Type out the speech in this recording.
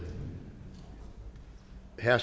her